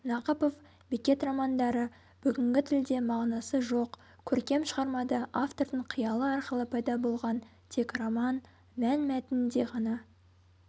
нақыпов беккет романдары бүгінгі тілде мағынасы жоқ көркем шығармада автордың қиялы арқылы пайда болған тек роман мән мәтінінде ғана